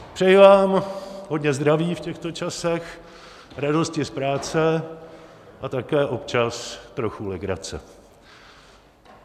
Přeji vám hodně zdraví v těchto časech, radosti z práce a také občas trochu legrace.